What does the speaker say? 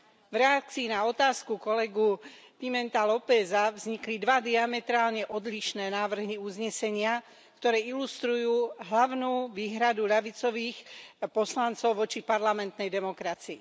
V reakcii na otázku kolegu Pimenta Lópeza vznikli dva diametrálne odlišné návrhy uznesenia, ktoré ilustrujú hlavnú výhradu ľavicových poslancov voči parlamentnej demokracii.